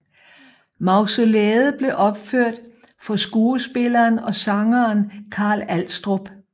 Mausolæet blev opført for skuespilleren og sangeren Carl Alstrup